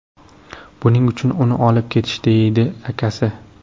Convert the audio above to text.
Buning uchun uni olib ketishdi, deydi akasi.